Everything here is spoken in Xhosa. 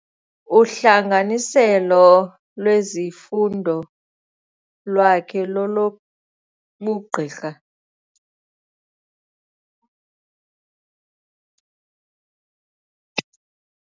Uhlanganiselo lwezifundo lwakhe lolobugqirha.